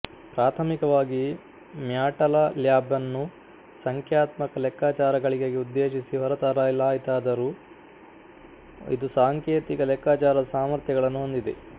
ಪ್ರಾಥಮಿಕವಾಗಿ ಮ್ಯಾಟಲ್ಯಾಬನ್ನು ಸಂಖ್ಯಾತ್ಮಕ ಲೆಕ್ಕಾಚಾರಗಳಿಗಾಗಿ ಉದ್ದೇಶಿಸಿ ಹೊರತರಲಾಯಿತಾತದರೋ ಇಂದು ಸಾಂಕೇತಿಕ ಲೆಕ್ಕಾಚಾರದ ಸಾಮರ್ಥ್ಯಗಳನ್ನು ಹೊಂದಿದೆ